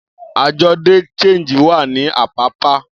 Ajọ de Change wa ni apapa.